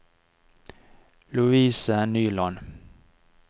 Louise Nyland